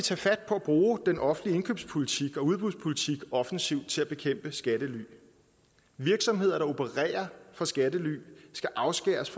at bruge den offentlige indkøbspolitik og udbudspolitik offensivt til at bekæmpe skattely virksomheder der opererer fra skattely skal afskæres